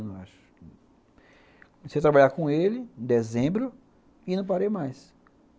Eu acho. Comecei a trabalhar com ele em dezembro e não parei mais.